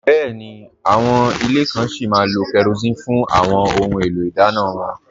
Bẹ́ẹ̀ni, àwọn ilẹ̀ kàn sí má lò kérosín fún àwọn ọ̀hun èlò idànna wọn